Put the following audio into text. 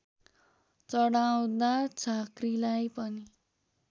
चढाउदा झाँक्रीलाई पनि